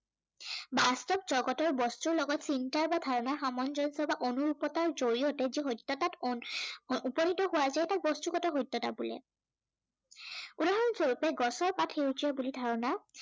বাস্তৱ জগতৰ বস্তুৰ লগত চিন্তাৰ বা ধাৰণাৰ সামঞ্জস্য় বা অনৰূপতাৰ জড়িয়তে যি সত্য়তাত উ~উপনীত হোৱা যায় তাক বস্তুগত সত্য়তা বোলে। উদাহৰণ স্বৰূপে গছৰ পাত সেউজীয়া বুলি ধাৰণা